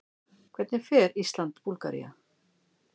Hvernig fer Ísland- Búlgaría?